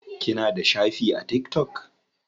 Kina da shafi a tiktok?